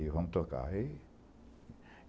E vamos tocar.